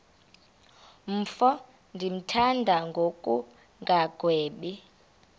mfo ndimthanda ngokungagwebi